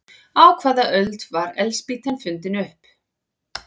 Á hvaða öld var eldspýtan fundin upp?